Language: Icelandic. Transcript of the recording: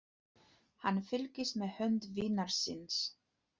Hann fylgdist með hönd vinar síns.